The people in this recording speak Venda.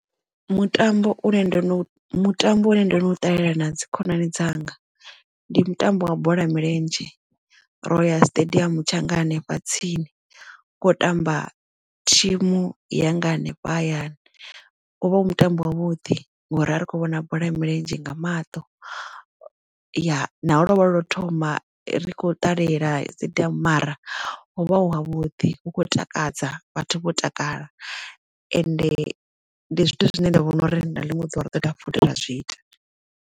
Mutambo une ndo no mutambo u ne ndo no ṱalela na dzi khonani dzanga ndi mutambo wa bola ya milenzhe ro ya siṱediamu tshanga hanefha tsini kho tamba thimu yanga hanefha hayani wo vha u mutambo wa vhuḓi ngori ra ri kho vhona bola ya milenzhe nga maṱo ya lovha ḽo thoma ri khou ṱalela dzi ḓivha mara hovha hu ha vhuḓi hu khou takadza vhathu vho takala ende ndi zwithu zwine nda vhona uri na liṅwe ḓuvha ri ḓo dovha futhi ra zwi ita.